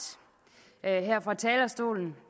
her fra talerstolen